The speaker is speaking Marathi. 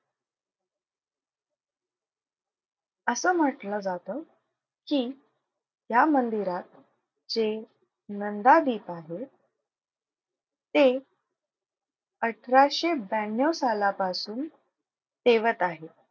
असं म्हंटलं जातं की या मंदिरात जे नंदादीप आहे ते अठराशे ब्याण्णव सालापासून तेवत आहे.